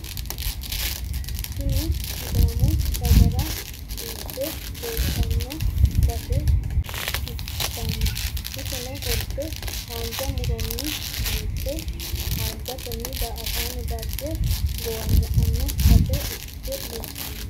Tini sidaamu dagara biiffe leeltanno base ikkitanna iseno qolte haanja mu'ronni biiffe haanjatenni daa'ataano dagge gowaanya'ano base ikkitanno.